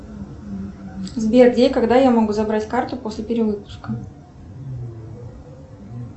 сбер где и когда я могу забрать карту после перевыпуска